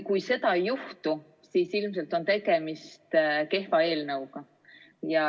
Kui seda ei juhtu, siis ilmselt on tegemist kehva eelnõuga.